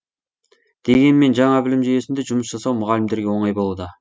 дегенмен жаңа білім жүйесінде жұмыс жасау мұғалімдерге оңай болуда